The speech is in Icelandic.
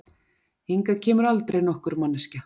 Hingað kemur aldrei nokkur manneskja.